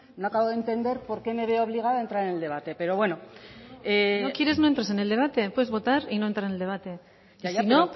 no acabo de entender por qué me veo obligada a entrar en el debate pero bueno si no quieres no entres en el debate puedes votar y no entrar en el debate si no